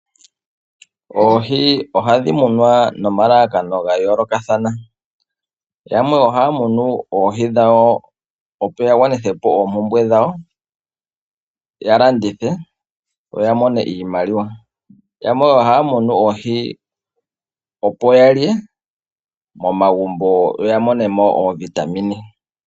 Oohi ohadhi munwa nomalalakano ga yoolokathana. Yamwe ohaya munu oohi dhawo opo ya gwanithepo oompumbwe dhawo, ya landithe yo oya mone iimaliwa. Yamwe ohaya munu oohi opo ya lye momagumbo yo ya mone mo oovitamine.